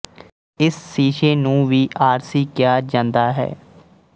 ਇਸ ਸ਼ੀਸ਼ੇ ਨੂੰ ਵੀ ਆਰਸੀ ਕਿਹਾ ਜਾਂਦਾ ਹੈ